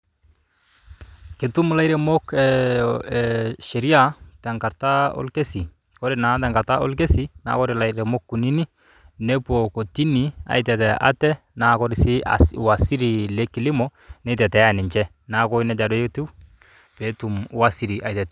Ketum ilairemok ee ee sheria tenkata orkesi, ore naa tenkata orkesi naa ore ilairemok kuninik nepuo kortini aitetea ate naa kore sii waziri le kilimo nitetea ninche. Neeku neija naa etiu peetum waziri aitetea..